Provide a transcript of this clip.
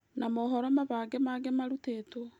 Na mohoro mabange mangĩ marutĩtwo